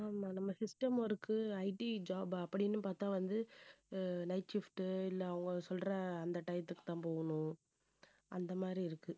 ஆமா நம்ம system workITjob அப்படின்னு பார்த்தா வந்து அஹ் night shift இல்லை அவங்க சொல்ற அந்த time த்துக்குதான் போகணும் அந்த மாதிரி இருக்கு.